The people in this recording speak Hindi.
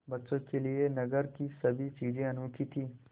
बच्चों के लिए नगर की सभी चीज़ें अनोखी थीं